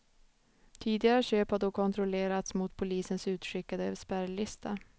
Tidigare köp hade då kontrollerats mot polisens utskickade spärrlista.